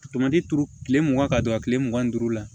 Tomati turu kile mugan ka don a kile mugan ni duuru la